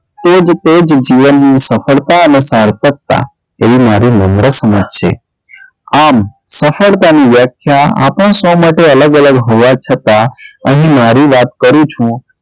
તે જ તે જ જીવનની સફળતા અને સાર્થકતા તેવી મારી નમ્ર સમજ છે આમ સફળતાની વ્યાખ્યા આપના સૌ માટે અલગ અલગ હોવા છતાં અહીં મારી વાત કરું છું.